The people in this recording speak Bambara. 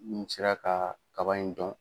Nu sera ka kaba in dɔn.